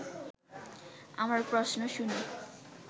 আমার প্রশ্ন শুনে